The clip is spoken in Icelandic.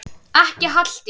Ekki Halldís